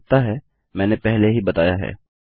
मुझे लगता है मैंने पहले ही बताया है